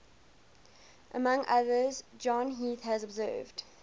among others john heath has observed